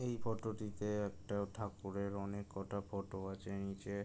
এই ফটো -টিতে একটা ঠাকুরের অনেক কটা ফটো আছে নিচে--